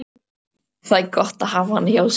Það er gott að hafa hana hjá sér.